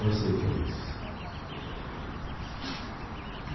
Eu sei o que é isso.